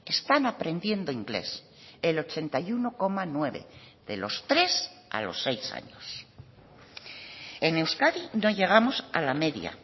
están aprendiendo inglés el ochenta y uno coma nueve de los tres a los seis años en euskadi no llegamos a la media